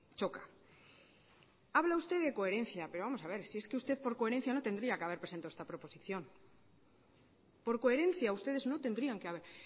choca habla usted de coherencia pero vamos a ver si es que usted por coherencia no tendría que haber presentado esta proposición por coherencia ustedes no tendrían que haber